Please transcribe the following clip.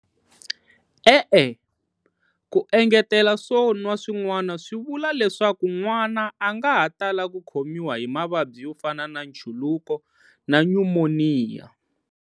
E-e, ku engetela swo nwa swin'wana swi vula leswaku n'wana a nga ha tala ku khomiwa hi mavabyi yo fana na nchuluko na nyumoniya.